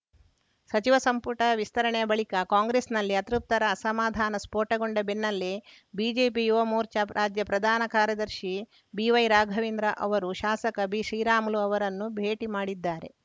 ಸಚಿವ ಸಂಪುಟ ವಿಸ್ತರಣೆಯ ಬಳಿಕ ಕಾಂಗ್ರೆಸ್‌ನಲ್ಲಿ ಅತೃಪ್ತರ ಅಸಮಾಧಾನ ಸ್ಫೋಟಗೊಂಡ ಬೆನ್ನಲ್ಲೇ ಬಿಜೆಪಿ ಯುವ ಮೋರ್ಚಾ ರಾಜ್ಯ ಪ್ರಧಾನ ಕಾರ್ಯದರ್ಶಿ ಬಿವೈ ರಾಘವೇಂದ್ರ ಅವರು ಶಾಸಕ ಬಿಶ್ರೀರಾಮುಲು ಅವರನ್ನು ಭೇಟಿ ಮಾಡಿದ್ದಾರೆ